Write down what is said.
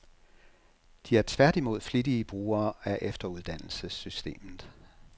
De er tværtimod flittige brugere af efteruddannelsessystemet.